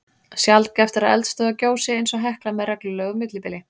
Sjaldgæft er að eldstöðvar gjósi eins og Hekla með reglulegu millibili.